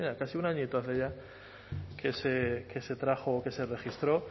casi un añito hace ya que se trajo que se registró